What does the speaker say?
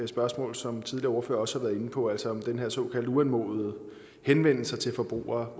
spørgsmål som tidligere ordførere også har været inde på altså om den her såkaldt uanmodede henvendelse til forbrugere